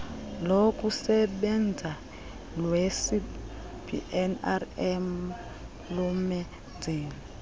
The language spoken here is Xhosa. lokusebenza lwecbnrm lomenzeli